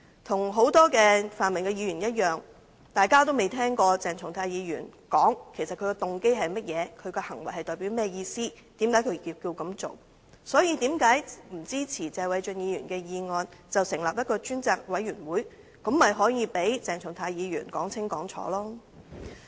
與很多泛民的議員一樣，大家均未曾聽過鄭松泰議員解釋他的動機為何、他的行為代表甚麼意思、為甚麼他要這樣做，因此，為甚麼他們不支持謝偉俊議員的議案，成立調查委員會，讓鄭松泰議員說清楚？